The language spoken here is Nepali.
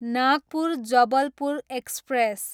नागपुर, जबलपुर एक्सप्रेस